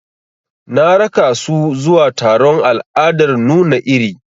Na raka su zuwa taron al'adar nuna iri.